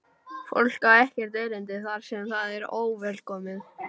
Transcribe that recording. Fólk á ekkert erindi þar sem það er óvelkomið.